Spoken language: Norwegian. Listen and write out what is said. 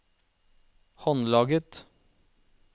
håndlaget